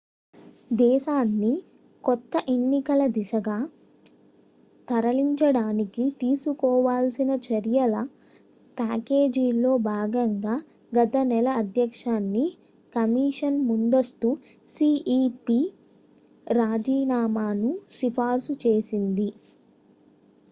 దేశాన్ని కొత్త ఎన్నికల దిశగా తరలించడానికి తీసుకోవాల్సిన చర్యల ప్యాకేజీలో భాగంగా గత నెలఅధ్యక్ష ుని కమిషన్ ముందస్తు cep రాజీనామాను సిఫార్సు చేసింది